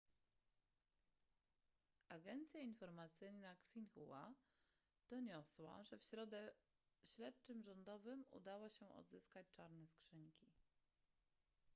agencja informacyjna xinhua doniosła że w środę śledczym rządowym udało się odzyskać czarne skrzynki